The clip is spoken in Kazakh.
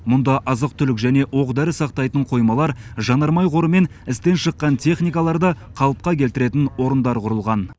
мұнда азық түлік және оқ дәрі сақтайтын қоймалар жанармай қоры мен істен шыққан техникаларды қалыпқа келтіретін орындар құрылған